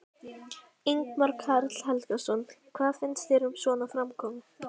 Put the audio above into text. Ingimar Karl Helgason: Hvað finnst þér um svona framkomu?